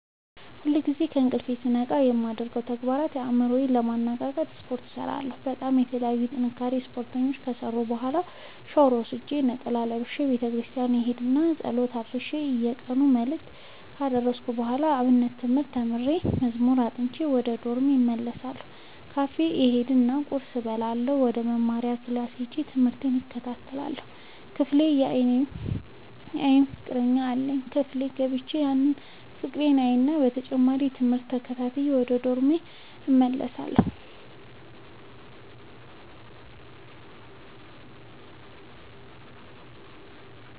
ሁልጊዜ ከእንቅልፎ ስነቃ የማደርገው ተግባር አእምሮ ዬን ለማነቃቃት ስፓርት እሰራለሁ በጣም የተለያዩ የጥንካሬ ስፓርቶችን ከሰራሁ በኋላ ሻውር ወስጄ ነጠላ ለብሼ ቤተክርስቲያን እሄድ እና ፀሎት አድርሼ የየቀኑን መልክአ ካደረስኩ በኋላ የአብነት ትምህርት ተምሬ መዝሙር አጥንቼ ወደ ዶርሜ እመለስ እና ካፌ እሄድ እና ቁርስ እበላእና ወደመማሪያክላስ ሄጄ ትምህቴን እከታተላለሁ። ክፍል የአይን ፍቀረኛ አለኝ ክፍል ገብቼ ያን ፍቅሬን አይና በተጨማሪም ትምህርቴን ተከታትዬ ወደ ዶርሜ እመለሳለሁ።